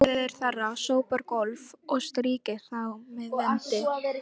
Þær samræður skapa það lífsmark og þá frjóu spennu sem vísindunum er lífsnauðsynleg.